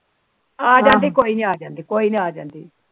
ਆ ਜਾਂਦੀ ਕੋਈ ਨਾ ਆ ਜਾਂਦੀ ਕੋਈ ਨਾ ਆ ਜਾਂਦੀ